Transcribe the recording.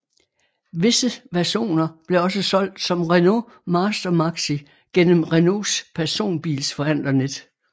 Visse versioner blev også solgt som Renault Master Maxi gennem Renaults personbilsforhandlernet